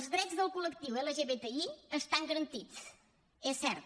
els drets del col·lectiu lgbti estan garantits és cert